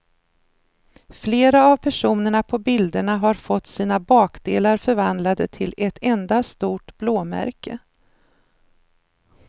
Flera av personerna på bilderna har fått sina bakdelar förvandlade till ett enda stort blåmärke.